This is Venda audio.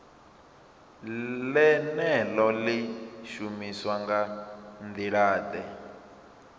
ḽeneḽo ḽi shumiswa nga nḓilaḓe